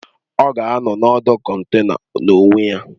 Ọ ga-anọ na ọdụ kọntena n'onwe ya